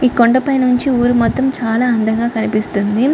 ఈ కొండపై నుంచి ఊరు మొత్తం చాలా అందంగా కనిపిస్తుంది.